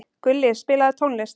Gulli, spilaðu tónlist.